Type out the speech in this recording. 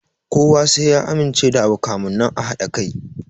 Kowa sai ya amince da abu kamun nan a haɗa kai